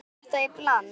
Allt þetta í bland?